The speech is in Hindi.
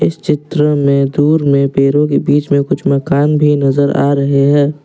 चित्र में दूर में पेड़ो के बीच में कुछ मकान भी नजर आ रहे हैं।